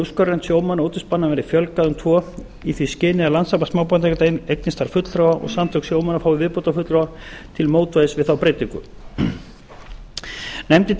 sjómanna og útvegsmanna verði fjölgað um tvo í því skyni að landssamband smábátaeigenda eignist þar fulltrúa og samtök sjómanna fái viðbótarfulltrúa til mótvægis við þá breytingu nefndin telur